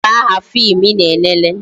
Gịnị bụ aha fim I na-elele?